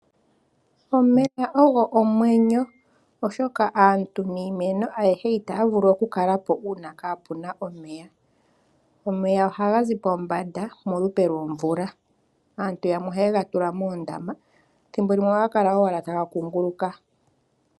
Omeya ogo omwenyo oshoka aantu niimeno itaya vulu okukala po uuna kape na omeya. Omeya ohaga zi pombanda polupe lwomvula. Aantu yamwe ohaye ga tula moondama nethimbo limwe ohaga kala ashike taga kuunguluka.